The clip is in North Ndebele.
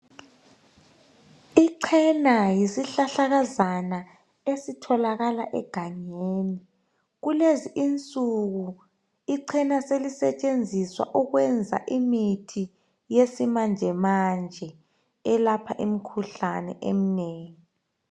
Ichena yisihlahlakazana esitholakala egangeni. Kulezi insuku ichena selisetshenziswa ukwenza imithi yesimanjemanje elapha imikhuhlane eminengi.